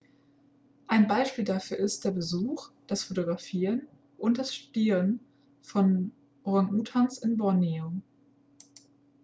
ein beispiel dafür ist der besuch das fotografieren und das studieren von orangutangs in borneo